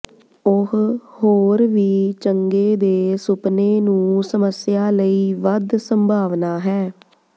ਉਹ ਹੋਰ ਵੀ ਚੰਗੇ ਦੇ ਸੁਪਨੇ ਨੂੰ ਸਮੱਸਿਆ ਲਈ ਵੱਧ ਸੰਭਾਵਨਾ ਹੈ